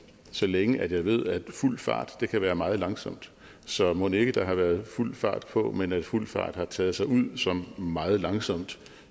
så længe at jeg ved at fuld fart kan være meget langsomt så mon ikke at der har været fuld fart på men at fuld fart har taget sig ud som meget langsomt